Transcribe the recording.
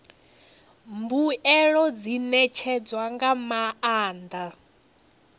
mbuelo dzi ṋetshedzwa nga maanḓa